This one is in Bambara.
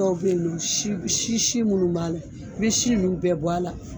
Dɔw bɛ ye nɔ si si si minnu b'a la i bɛ si nun bɛɛ bɔ a la.